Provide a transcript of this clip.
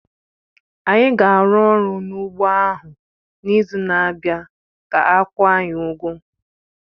Anyị ga-arụ ọrụ n'ugbọ ahụ n'izu na-abịa ka a kwụọ anyị ụgwọ